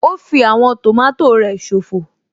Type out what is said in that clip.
Ó fí àwọn tòmátò rẹ̀ ṣòfò